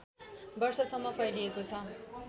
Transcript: वर्षसम्म फैलिएको छ